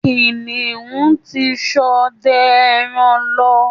Kìnìún ti ṣọdẹ ẹran lọ